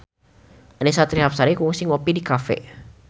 Annisa Trihapsari kungsi ngopi di cafe